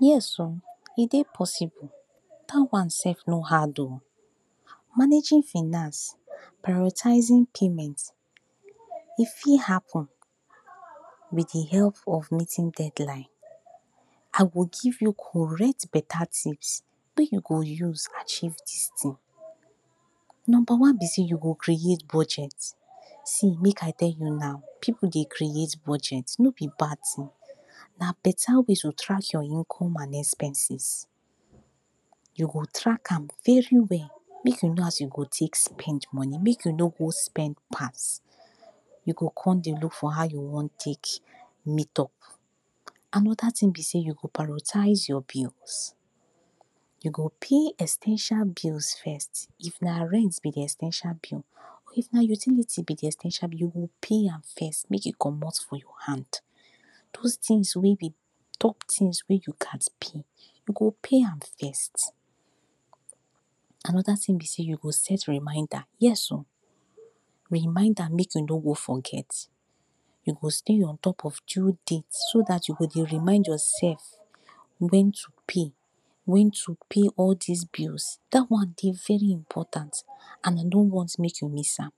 Yes! oh e dey possible, dat one sef no hard oh. managing finance prioritising payments e fit happen with de help of meeting deadline. I go give you correct beta tips wey you go use achieve dis ting. number one be sey you go create budget: see make I tell you now, pipu dey create budget no be bad ting na beta way to track your income and expenses. you go track am very well make you know how you go take spend your money. make you no spend pass you go come dey look for how you wan take meet up. anoda ting be sey you go prioritise your bills. you go pay essentials first of all like rent be de essential bill or if na utility be de essential bill, you go lay am first make e comot for your hand. those tings wey dey too tings wey you gast pay you go pay am first. anoda ting be sey you go set reminder yes! oh reminder make you no go forget you go stay on top of due date so dat you go dey remind yourself wen you pay wen to pay all dis bills. dat one dey very important and I no want hear sey you miss am.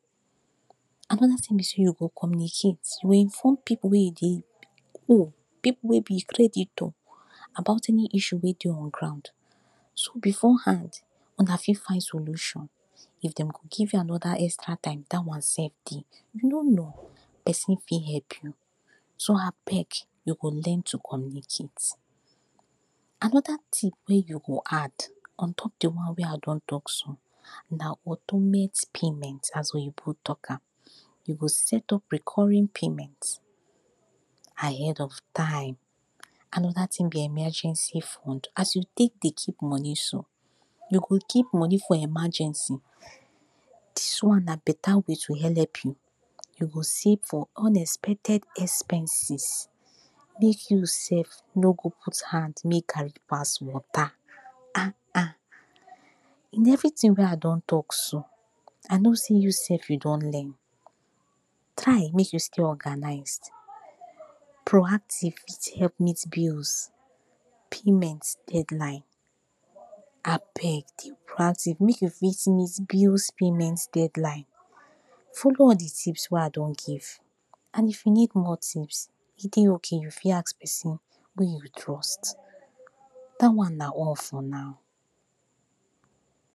anoda ting be sey you go communicate: you go inform pipu wey dey cook pipu wey be creditor about any issue wey dey on ground so before hand una for find solution. if dem go give you anoda extra time, dat one sef dey. you no know person fit help you so abeg learn to communicate. anoda tip wey you go add on top de one wey I don talk so na automate payment. as oyibo talk am you go set up recurring payment ahead of time. anoda ting be emergency fund as you take dey keep de money, so you go keep money for emergency dis one na beta way to help you. you go save for unexpected emergencies make you sef no go out hand make garri pass wata ah. in everyting wey I don talk so know sey you sef you don learn. try make you stay organise proactive fit help meet bills payment deadline. abeg dey proactive make you fit meet bills payment deadline following all de tips wey I don give and if you need more tips, e dey okay. you fit ask person wey You trusts dat one na all for now.